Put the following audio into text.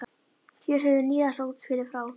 Hér höfum við nýjasta útspilið frá